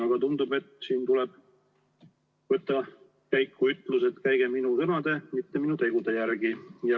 Aga tundub, et siin tuleb võtta käiku ütlus, et käige minu sõnade, mitte minu tegude järgi.